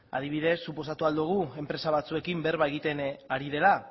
adibidez suposatu ahal dugu enpresa batzuekin berba egiten ari dela